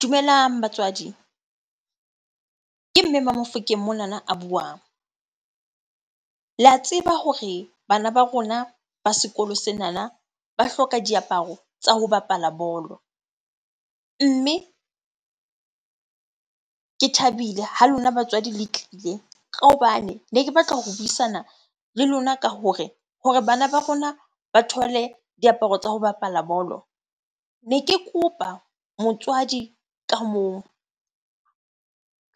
Dumelang batswadi, ke Mme Mamofokeng monana a buang. Le a tseba hore bana ba rona ba sekolo senana ba hloka diaparo tsa ho bapala bolo. Mme ke thabile ha lona batswadi le tlile ka hobane ne ke batla ho buisana le lona ka hore bana ba rona ba thole diaparo tsa ho bapala bolo. Ne ke kopa motswadi ka mong